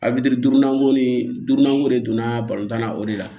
Alibiri durunan ko ni durunnanko de donna tan na o de la